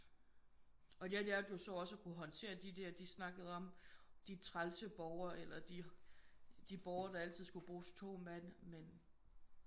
Og jeg lærte jo også så at kunne håndtere de der de snakkede om de trælse borgere eller de de borgere der altid skulle bruges 2 mand men